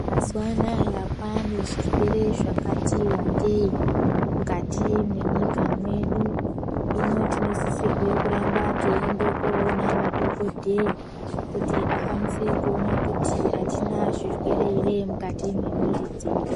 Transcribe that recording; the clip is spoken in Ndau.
Mazuva anaya kwane zvirwere zvakati wandei mwukati mwenyika yedu. Hino tinosisirwe kuramba teiende koona madhokodheya kuti akwanise kuona kuti hatina zvirwere here mwukati memiiri dzedu.